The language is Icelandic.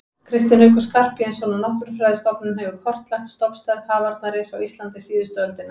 Kristinn Haukur Skarphéðinsson á Náttúrufræðistofnun hefur kortlagt stofnstærð hafarnarins á Íslandi síðustu öldina.